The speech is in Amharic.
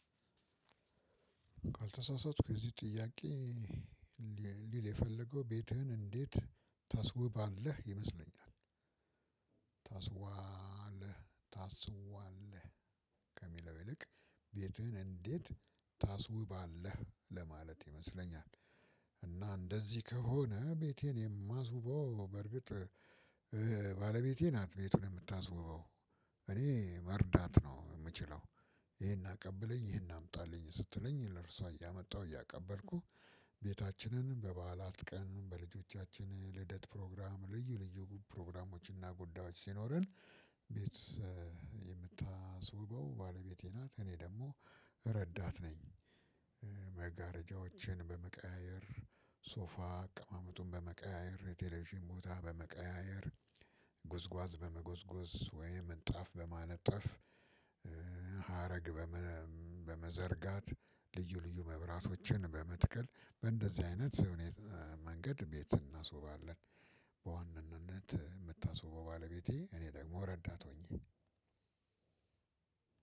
ካልተሳሳትኩ የዚህ ጥያቄ ሊል የፈለገው ቤትህን እንዴት ታስውባለህ ይመስለኛል ታስዋለህ ታስዋለህ ከሚለው ይልቅ ቤትህን እንዴት ታስውባለህ? ለማለት ይመስለኛል እና እንደዚህ ከሆነ ቤቴን የማስበው በርግጥ ባለቤቴ ናት ቤቱን የምታስወበው እኔ መርዳት ነው የምችለው። ይሄን አቀብለኝ ይሄን አምጣልኝ ስትለኝ ለርሷ እያመጣሁ እያቀበልኩ ቤታችንን በበዓላት ቀን በልጆቻችን ልደት ፕሮግራም ልዩ ልዩ ፕሮግራሞች እና ጉዳዮች ሲኖረን ቤት የምታስውበው ባለቤቴ ናት። እኔ ደግሞ ረዳት ነኝ። መጋረጃዎችን በመቀያየር ሶፋ አቀማመጡን በመቀያየር የቴሌቪዥን ቦታ በመቀያየር ጉዝጓዝ በመጎዝጎዝ ወይም ምንጣፍ በማነጠፍ ሀረግ በመዘርጋት ልዩ ልዩ መብራቶችን በመትከል በእንደዚህ አይነት መንገድ ቤት እናስውባለን። በዋናነት የምታስውበው ባለቤቴ እኔ ደግሞ ረዳት ሆኜ